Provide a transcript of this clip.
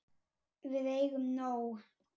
Við eigum nóg.